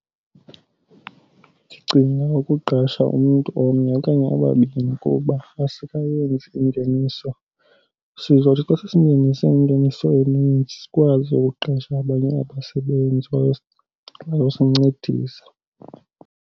Ndicinga ukuqasha umntu omnye okanye ababini kuba asikayenzi ingeniso. Sizothi xa sesingenisa ingeniso eninzi sikwazi ukuqesha abanye abasebenzi bazosincedisa.